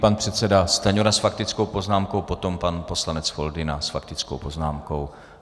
Pan předseda Stanjura s faktickou poznámkou, potom pan poslanec Foldyna s faktickou poznámkou.